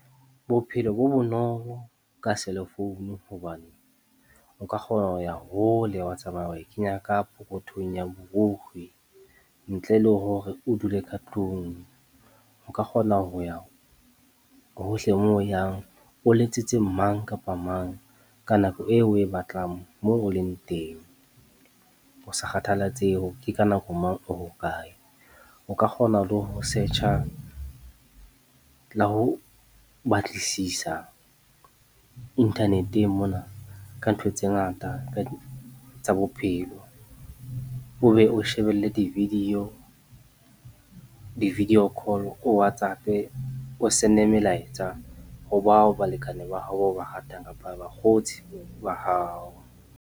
Bophelo bo bonolo ka selefounu hobane o ka kgona ho ya hole, wa tsamaya wa e kenya ka pokothong ya borikgwe ntle le hore o dule ka tlung, o ka kgona ho ya ho hohle moo o yang o letsetse mang kapa mang ka nako eo o e batlang moo o leng teng ho sa kgathallatsehe hore ke ka nako mang, o hokae. O ka kgona le ho search-a le ho batlisisa inthaneteng mona ka ntho tse ngata tsa bophelo, o be o shebelle di-video, di-video call, o Whatsapp-e, o send-e melaetsa ho bao balekane ba hao bao o ba ratang kapa bakgotsi ba hao.